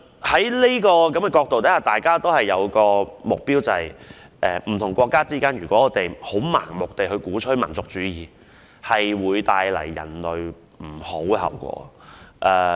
從這個角度看，大家也有一個共同目標，相信不同國家如盲目鼓吹民族主義，將會為人類帶來惡果。